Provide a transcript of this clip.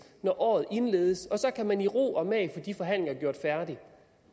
når året indledes og så kan man i ro og mag få de forhandlinger gjort færdig